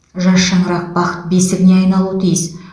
жас шаңырақ бақыт бесігіне айналуы тиіс